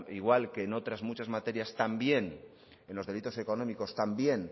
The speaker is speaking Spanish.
igual que en otras muchas materias también en los delitos económicos también